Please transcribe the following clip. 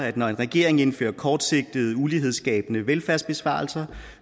at når en regering indførte kortsigtede ulighedsskabende velfærdsbesparelser